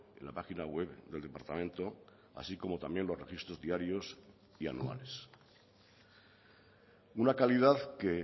en la página web del departamento así como también los registros diarios y anuales una calidad que